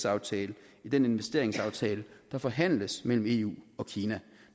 aftale i den investeringsaftale der forhandles mellem eu og kina